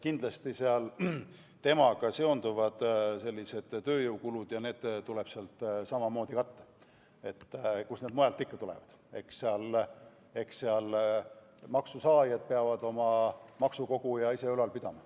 Kindlasti on temaga seotud ka tööjõukulud, mis tuleb samamoodi sealt katta, sest kust need mujalt ikka tulevad – eks maksusaajad peavad oma maksukogujat ise ülal pidama.